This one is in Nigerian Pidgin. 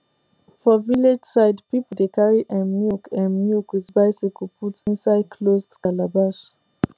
for village side people dey carry um milk um milk with bicycle put inside closed calabash